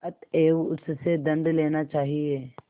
अतएव उससे दंड लेना चाहिए